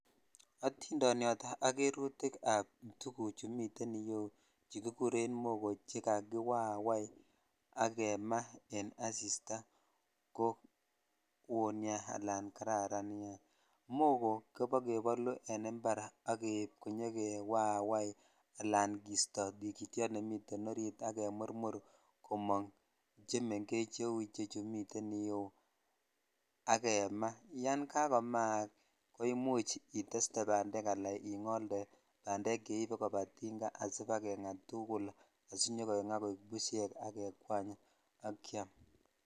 Itindonyot ak kerutik ab tugucu mi yuu chu kikuren bogor che kakiwawai ak jena en asitaa ko would nia ala karan mogoo kobokebolu en impar ak keib kenyokewaawai ala kisto tikityot nemiten orit ak kemurmur komong chemengech cheu chu miten iteu ak jema yan kakomaak ko imuch itestee bandek ala ingolde bandek cheibe koba tinga alatugul tujul asibakengaa koik bushek ak kekwany ak kyiam.